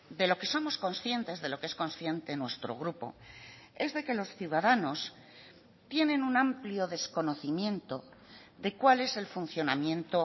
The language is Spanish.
de lo que somos conscientes de lo que es consciente nuestro grupo es de que los ciudadanos tienen un amplio desconocimiento de cuál es el funcionamiento